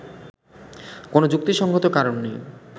কোন যুক্তিসঙ্গত কারণ নেই